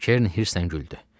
Kerin hirslə güldü.